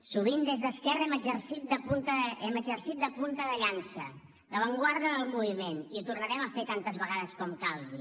sovint des d’esquerra hem exercit de punta de llança d’avantguarda del moviment i ho tornarem a fer tantes vegades com calgui